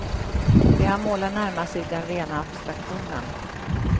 Det han målar närmar sig den rena abstraktionen.